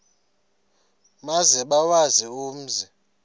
maze bawazi umzi